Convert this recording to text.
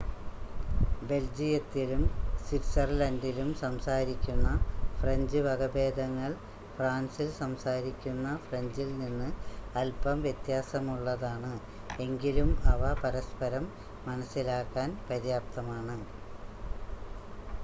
ബെൽജിയത്തിലും സ്വിറ്റ്സർലൻഡിലും സംസാരിക്കുന്ന ഫ്രഞ്ച് വകഭേദങ്ങൾ ഫ്രാൻസിൽ സംസാരിക്കുന്ന ഫ്രഞ്ചിൽ നിന്ന് അൽപ്പം വ്യത്യാസമുള്ളതാണ് എങ്കിലും അവ പരസ്പരം മനസ്സിലാക്കാൻ പര്യാപ്തമാണ്